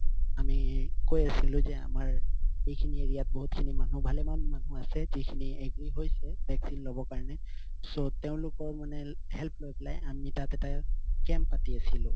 আমি কৈ আছিলো যে আমাৰ এইখিনি area বহুত খিনি মানুহ আছে ভালেমান মানুহ আছে যিখিনি agree হৈছে vaccine লব কাৰণে so তেওঁলোকৰ মানে আমি help লৈ পেলাই আমি তাত এটা camp পাতি আছিলো